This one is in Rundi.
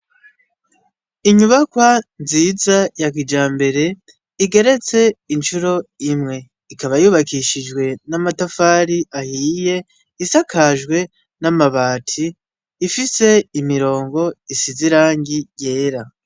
Inyubakwa nziza yakija mbere igeretse incuro imwe ikaba yubakishijwe n'amatafari ahiye isakajwe n'amabati ifise imirongo isizeirangi yera.